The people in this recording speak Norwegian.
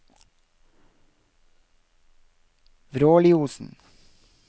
Vråliosen